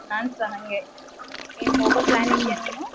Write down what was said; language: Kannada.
ಹ್ಮ್ ನಾನ್ಸ ಹಂಗೆ, ಏನ್ ಹೋಗೋ plan ಇದ್ಯಾ ನೀನು?